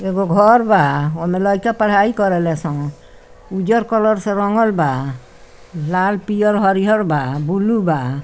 एगो घर बा ओय में लइका पढाई कर रहल सन उज्जर कलर से रंगल बा लाल पियर हरियर बा ब्लू ।